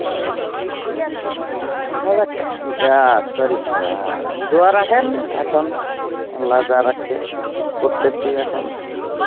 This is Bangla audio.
দেখা যাক, ইয়া sorry অ্যাঁ দোয়া রাখেন এখন আল্লা যা রাখছে করতেছি এখন.